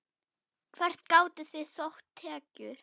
Hvert gátuð þið sótt tekjur?